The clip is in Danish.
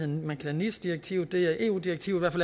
man kalder nis direktivet det er i eu direktiv